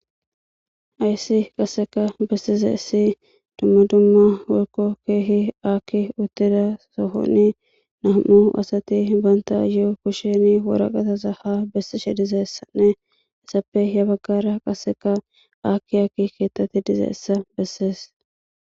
ayssi qasseka bessize issi dumma dumma wolko keehi aakki uttida sohonni nam7u asati banta ye7o kushini woraqataza ha bessishe dizessanne issappe he baggara qasseka aakki akki keettati dize essa bessees